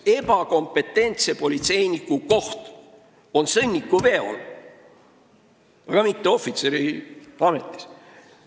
Ebakompetentse politseiniku koht on sõnnikuveol, mitte ohvitseriametis.